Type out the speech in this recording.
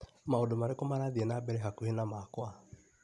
Maũndũ marĩkũ marathiĩ na mbere hakuhĩ na makwa?